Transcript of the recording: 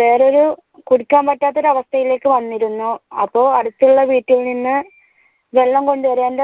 വേറൊരു കുടിക്കാൻ പറ്റാത്ത ഒരു അവസ്ഥയിലേക്ക് വന്നിരുന്നു അപ്പൊ അടുത്തുള്ള വീട്ടിൽ നിന്ന് വെള്ളം കൊണ്ടുവരേണ്ട